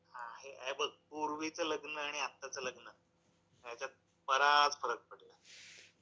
हा, हे बघ, पूर्वीचं लग्न आणि आत्ताचं लग्न यांच्यात बराच फरक पडतो. पूर्वीची जी मजा, धांदल, दंगामस्ती, माणसं भेटणं हा जो प्रकार होता तो आता काही राहिला नाही.